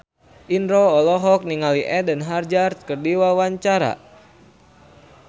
Indro olohok ningali Eden Hazard keur diwawancara